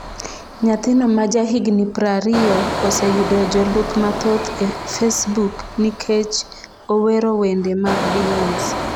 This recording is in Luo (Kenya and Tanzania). Nyathino ma ja higni prariyo oseyudo jolup mathoth e Facebook nikech owero wende mag Beyoncé